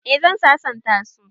Eh zan sasanta su